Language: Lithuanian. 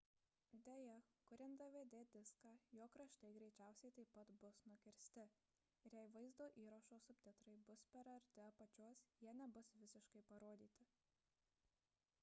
deja kuriant dvd diską jo kraštai greičiausiai taip pat bus nukirsti ir jei vaizdo įrašo subtitrai buvo per arti apačios jie nebus visiškai parodyti